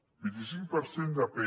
vint i cinc per cent de p